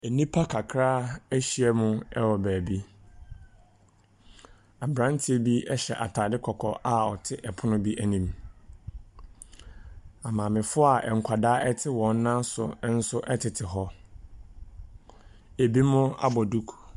Nnipa kakra ahyia mu wɔ beebi. Aberanteɛ bi hyɛ ataare kɔkɔɔ a ɔte pono bi anim. Amaamefoɔ a nkwadaa tete wɔn nan so nso tete hɔ. Binom abɔ duku.